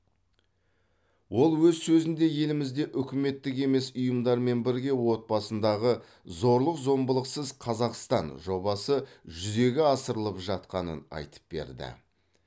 ол өз сөзінде елімізде үкіметтік емес ұйымдармен бірге отбасындағы зорлық зомбылықсыз қазақстан жобасы жүзеге асырылып жатқанын айтып берді